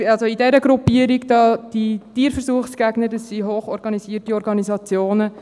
Diese Gruppierungen der Tierversuchsgegner sind hoch organisierte Organisationen.